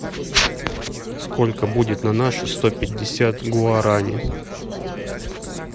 сколько будет на наши сто пятьдесят гуарани